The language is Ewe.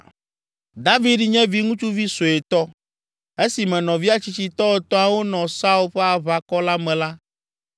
David nye viŋutsuvi suetɔ. Esime nɔvia tsitsitɔ etɔ̃awo nɔ Saul ƒe aʋakɔ la me la,